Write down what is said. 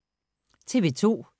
TV 2